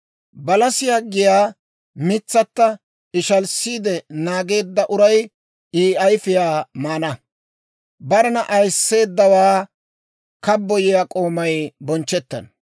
Balasiyaa giyaa mitsatto ishalissiide naageedda uray I ayifiyaa maana; barena ayisseeddaawaa kabboyiyaa k'oomay bonchchettana.